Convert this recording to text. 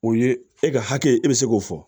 O ye e ka hakɛ e bɛ se k'o fɔ